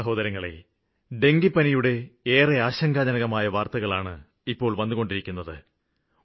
പ്രിയപ്പെട്ട സഹോദരങ്ങളേ ഡെങ്കുവിന്റെ ഏറെ ആശങ്കാജനകമായ വാര്ത്തകളാണ് വന്നുകൊണ്ടിരിക്കുന്നത്